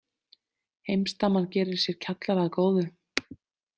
Heimsdaman gerir sér kjallara að góðu.